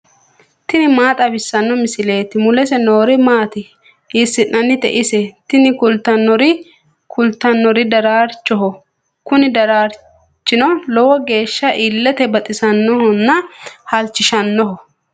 tini maa xawissanno misileeti ? mulese noori maati ? hiissinannite ise ? tini kultannori daraarchoho. kuni daraarchino lowo geeshsha illete baxisannohonna halchishannoho.